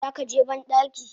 Zakaje bandaki?